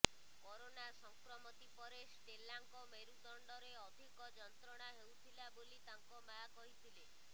corona ସଂକ୍ରମତି ପରେ ଷ୍ଟେଲାଙ୍କ ମେରୁଦଣ୍ଡରେ ଅଧିକ ଯନ୍ତ୍ରଣା ହେଉଥିଲା ବୋଲି ତାଙ୍କ ମା କହିଥିଲେ